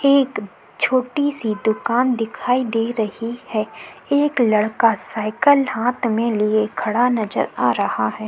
एक छोटी सी दुकान दिखाई दे रही है। एक लड़का साइकिल हाथ में लिए खड़ा नजर आ रहा है।